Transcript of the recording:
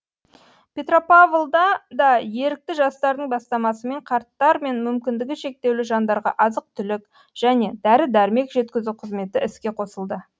петропавлда да ерікті жастардың бастамасымен қарттар мен мүмкіндігі шектеулі жандарға азық түлік және дәрі дәрмек жеткізу қызметі іске қосылды